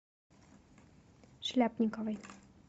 шляпниковой